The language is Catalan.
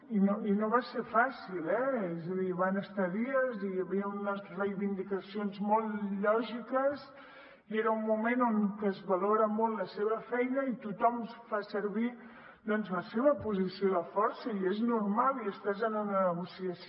i no va ser fàcil eh és a dir van estar dies hi havia unes reivindicacions molt lògiques i era un moment en què es valorava molt la seva feina i tothom fa servir doncs la seva posició de força i és normal i estàs en una negociació